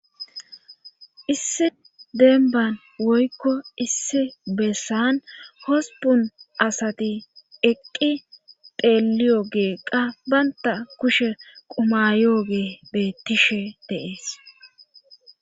Issi denban woykko issi bessan hospun asati eqqi pheliyo geeqqa baynta kushe qumayooge bettishe deees